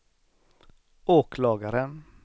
åklagaren